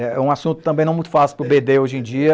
É um assunto também não muito fácil para o bê dê hoje em dia.